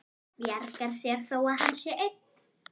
Bjargar sér þó að hann sé einn.